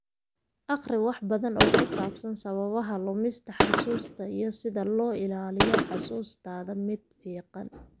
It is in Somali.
Akhri wax badan oo ku saabsan sababaha lumista xusuusta iyo sida loo ilaaliyo xusuustaada mid fiiqan.